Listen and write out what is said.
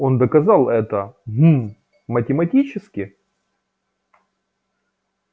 он доказал это гм математически